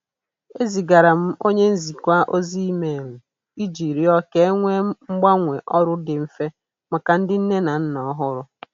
Ezigara m onye njikwa ozi email iji rịọ ka e nwee mgbanwe ọrụ dị mfe maka ndị nne na nna ọhụrụ.